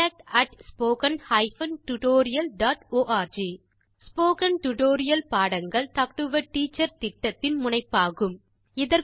contact at spoken hyphen tutorial dot org spoken tutorial பாடங்கள் talk to a teacher திட்டத்தின் முனைப்பாகும்